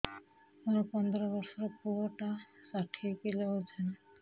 ମୋର ପନ୍ଦର ଵର୍ଷର ପୁଅ ଟା ଷାଠିଏ କିଲୋ ଅଜନ